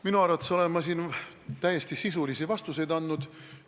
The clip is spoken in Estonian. Oma arvates olen ma siin täiesti sisulisi vastuseid andnud.